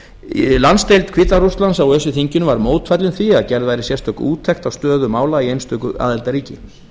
rússlandi landsdeild hvíta rússlands á öse þinginu var mótfallin því að gerð væri sérstök úttekt á stöðu mála í einstöku aðildarríki